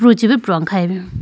pru chibi prune khayi bi.